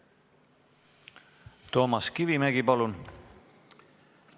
Toomas Kivimägi, palun!